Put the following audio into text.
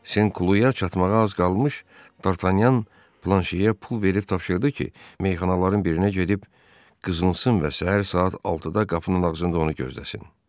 Senkuluyaya çatmağa az qalmış Dartanyan Planşeyə pul verib tapşırdı ki, meyxanaların birinə gedib qızınsın və səhər saat 6-da qapının ağzında onu gözləsin.